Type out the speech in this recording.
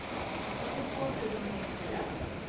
åttiotvå tusen trettiofyra